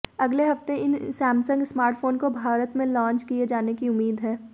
अगले हफ्ते इन सैमसंग स्मार्टफोन को भारत में लॉन्च किए जाने की उम्मीद है